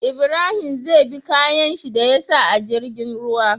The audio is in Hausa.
Ibrahim zai bi kayan shi da yasa a jirgin ruwa